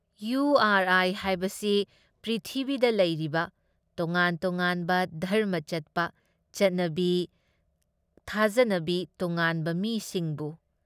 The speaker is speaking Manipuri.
ꯏꯌꯨ ꯑꯥꯥꯔ ꯑꯥꯏ ꯍꯥꯏꯕꯁꯤ ꯄ꯭ꯔꯤꯊꯤꯕꯤꯗ ꯂꯩꯔꯤꯕ ꯇꯣꯉꯥꯟ ꯇꯣꯉꯥꯟꯕ ꯙꯔꯝꯃ ꯆꯠꯄ, ꯆꯠꯅꯕꯤ, ꯈꯥꯖꯅꯕꯤ ꯇꯣꯉꯥꯟꯕ ꯃꯤꯁꯤꯡꯕꯨ